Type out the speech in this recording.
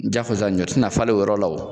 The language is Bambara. sisan ɲɔ tɛna falen o yɔrɔ la o